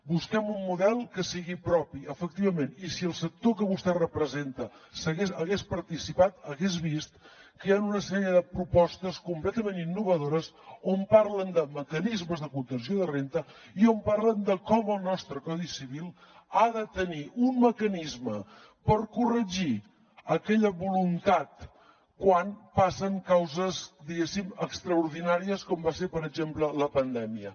busquem un model que sigui propi efectivament i si el sector que vostè representa hagués participat hagués vist que hi han una sèrie de propostes completament innovadores on parlen de mecanismes de contenció de renda i on parlen de com el nostre codi civil ha de tenir un mecanisme per corregir aquella voluntat quan passen causes diguéssim extraordinàries com va ser per exemple la pandèmia